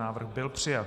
Návrh byl přijat.